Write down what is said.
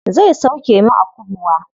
Zai sauke mu a kubwa.